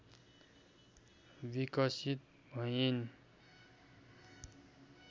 विकसित भइन्।